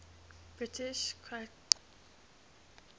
british cryptographers